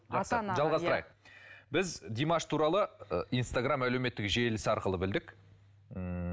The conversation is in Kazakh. жалғастырайық біз димаш туралы ы инстаграм әлеуметтік желісі арқылы білдік ммм